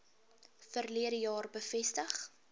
verlede jaar bevestig